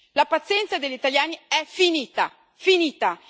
La pazienza degli italiani è finita, finita!